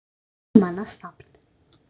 Tímanna safn